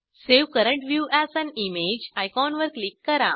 save current view as an image आयकॉनवर click करा